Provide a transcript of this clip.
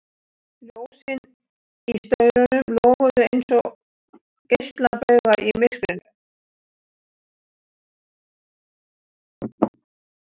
Ljósin í staurunum loguðu einsog geislabaugar í myrkrinu.